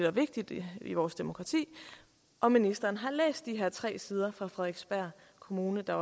og vigtigt i vores demokrati om ministeren har læst de her tre sider fra frederiksberg kommune der